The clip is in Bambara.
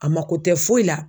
A mako tɛ foyi la.